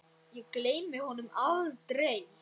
Ég gleymi honum aldrei.